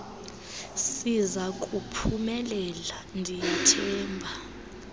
sizaku phumelela ndiyathemba